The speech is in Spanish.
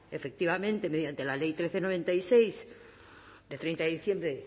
efectivamente mediante la ley trece barra noventa y seis de treinta de diciembre